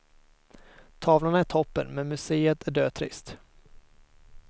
Tavlorna är toppen men muséet är dötrist.